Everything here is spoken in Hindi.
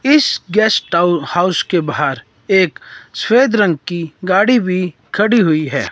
इस गेस्ट हाउस के बाहर एक सफेद रंग की गाड़ी भी खड़ी हुई है।